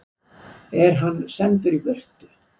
Er hann sendur í burtu?